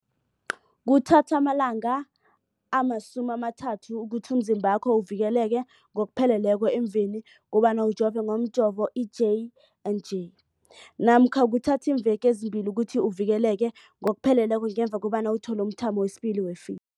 Kuthatha amalanga ama-30 ukuthi umzimbakho uvikeleke ngokupheleleko emveni kobana ujove ngomjovo i-J and J namkha kuthatha iimveke ezimbili ukuthi uvikeleke ngokupheleleko ngemva kobana uthole umthamo wesibili wePfi